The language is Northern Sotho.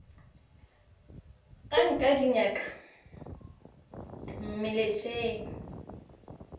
ga nke di nyaka mmešelet